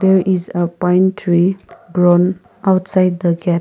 there is a pine tree grown outside the gate.